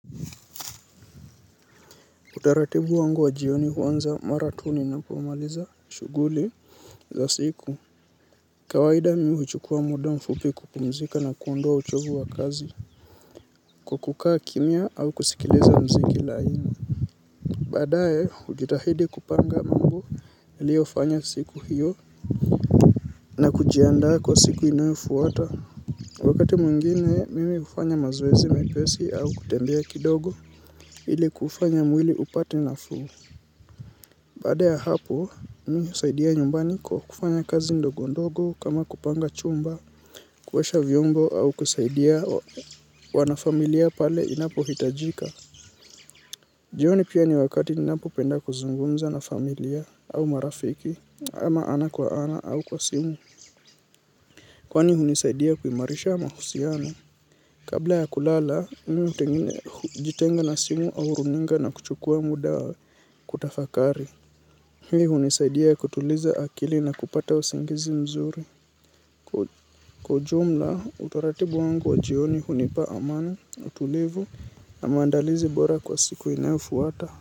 Utaratibu wangu wa jioni huanza mara tu ninapo maliza shughuli za siku. Kawaida mi huchukua muda mfupi kupumzika na kuondoa uchovu wa kazi. Kwa kukaa kimya au kusikiliza muziki laini. Baadae, hujitahidi kupanga mambo niliyo fanya siku hiyo na kujiandaa kwa siku inayofuata. Wakati mwingine, mimi hufanya mazoezi mepesi au kutembea kidogo, ili kufanya mwili upate nafuu. Baada ya hapo, mi husaidia nyumbani kwa kufanya kazi ndogondogo kama kupanga chumba, kuosha vyombo au kusaidia wanafamilia pale inapo hitajika. Jioni pia ni wakati ninapo penda kuzungumza na familia au marafiki ama ana kwa ana au kwa simu. Kwani hunisaidia kuimarisha mahusiano. Kabla ya kulala, mimi hujitenga na simu au runinga na kuchukua muda kutafakari. Hii hunisaidia kutuliza akili na kupata usingizi mzuri. Kwa ujumla utaratibu wangu wa jioni hunipa amani na utulivu. Na maandalizi bora kwa siku inayofuata.